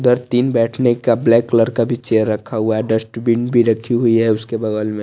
दर तीन बेठेने का ब्लैक कलर का भी चेयर रखा हुआ है डस्टबिन भी रखी हुई है उसके बगल में --